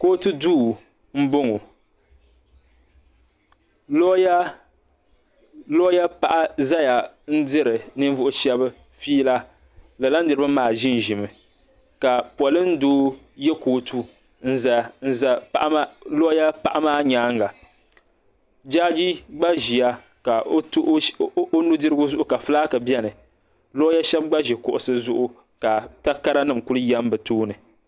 kootu duu m-bɔŋɔ looya paɣa zaya diri ninvuɣ' shɛba fiila lala niriba maa ʒi ʒimi ka polin' doo ye kootu n-za looya paɣa maa nyaaga jaaji gba ʒiya o nu' dirigu zuɣu ka fulaaki beni looya shɛba gba ʒi kuɣisi zuɣu ka takara nima kuli yam bɛ tooni.